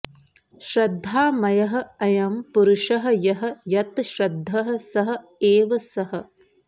श्रद्धामयः अयम् पुरुषः यः यत् श्रद्धः सः एव सः